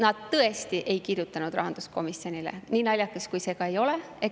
Nad tõesti ei kirjutanud rahanduskomisjonile, nii naljakas kui see ka ei ole.